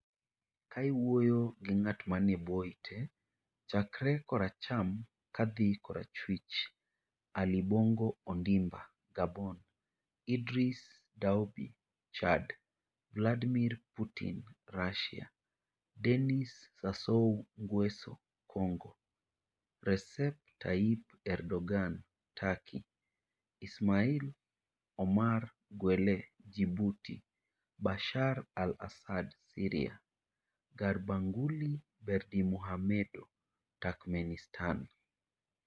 Ka iwuoyo gi ng'at manie bwo ite, chakre koracham kadhi korachwich: Ali Bongo Ondimba (Gabon); Idriss Déby (Chad); Vladimir Putin (Russia); Denis Sassou Nguesso (Congo); Recep Tayyip Erdoğan (Turkey); Ismail Omar Guelleh (Djibouti); Bashar Al-Assad (Syria); Gurbanguly Berdimuhamedow (Turkmenistan).